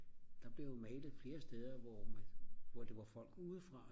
der blev jo malet flere steder hvor det var folk udefra